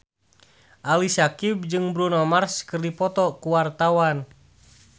Ali Syakieb jeung Bruno Mars keur dipoto ku wartawan